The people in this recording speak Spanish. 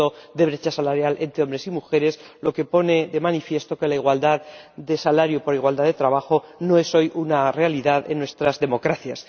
de brecha salarial entre hombres y mujeres, lo que pone de manifiesto que la igualdad de salario por un mismo trabajo no es hoy una realidad en nuestras democracias.